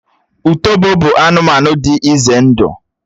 Ùtòbó bụ anụmanụ dị ìzé ndụ